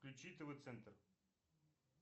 включи тв центр